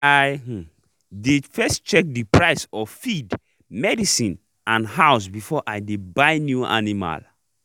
i um dey first check the price of feed medicine and house before i dey buy new animal